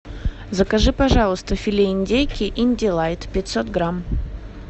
закажи пожалуйста филе индейки индилайт пятьсот грамм